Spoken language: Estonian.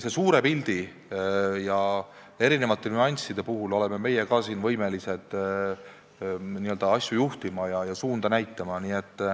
Nii suure pildi kui ka erinevate nüansside puhul oleme meie ka võimelised asju juhtima ja suunda näitama.